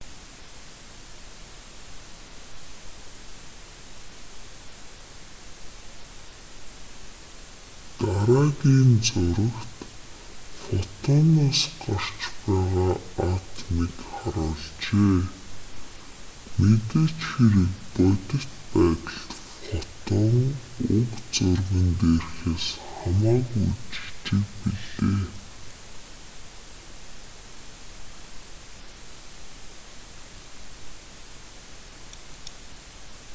дараагийн зурагт фотоноос гарч байгаа атомыг харуулжээ мэдээж хэрэг бодит байдалд фотон уг зурган дээрхээс хамаагүй жижиг билээ